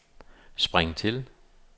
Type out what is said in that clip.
spring til